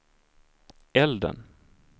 elden